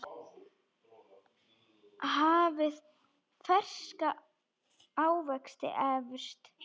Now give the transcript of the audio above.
Hafið ferska ávexti efst.